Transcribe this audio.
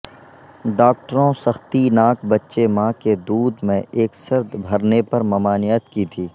ڈاکٹروں سختی ناک بچے ماں کے دودھ میں ایک سرد بھرنے پر ممانعت کی تھی